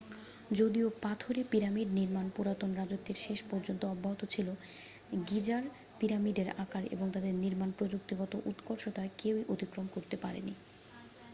যদিও পাথরে পিরামিড নির্মাণ পুরাতন রাজত্বের শেষ পর্যন্ত অব্যাহত ছিল গিজার পিরামিডের আকার এবং তাদের নির্মাণ প্রযুক্তিগত উৎকর্ষতা কেউ অতিক্রম করতে পারেনি